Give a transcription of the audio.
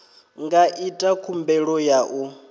nga ita khumbelo ya u